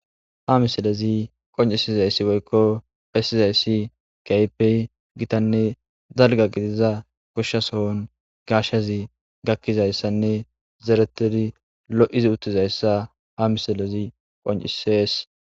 ha misalezi qoncisizayssi boykko pessizayssi kaypey gitanne dalga gidiza goshsha sohon gashshazi gakkizayssanne zereteri lo7izi uttizayssa ha misilezi qoncisees